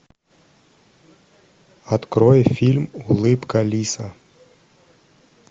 открой фильм улыбка лиса